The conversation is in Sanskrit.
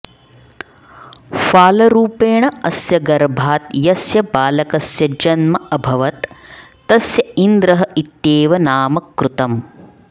फालरूपेण अस्य गर्भात् यस्य बालकस्य जन्म अभवत् तस्य इन्द्रः इत्येव नाम कृतम्